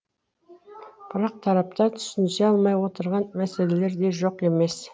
бірақ тараптар түсінісе алмай отырған мәселелер де жоқ емес